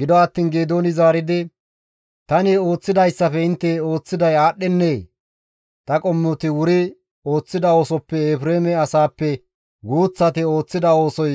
Gido attiin Geedooni zaaridi, «Tani ooththidayssafe intte ooththiday aadhdhennee? Ta qommoti wuri ooththida oosoppe Efreeme asaappe guuththati ooththida oosoy